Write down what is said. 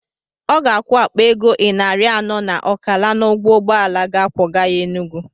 Ọ ga-akwụ akpa ego ịnarị anọ na ọkala n'ụgwọ ụgbọala ga akwọga ya Enugwu.